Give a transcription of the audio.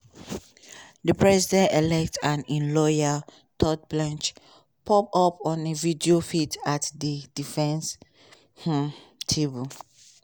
di president-elect and im lawyer todd blanche pop up on a video feed at di defence um table.